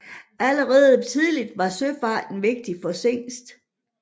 Allerede tidligt var søfarten vigtig for Zingst